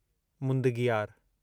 मुदंगियार